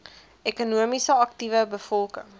ekonomies aktiewe bevolking